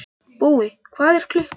Búi, hvað er klukkan?